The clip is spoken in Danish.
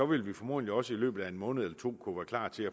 vil vi formodentlig også i løbet af en måned eller to kunne være klar til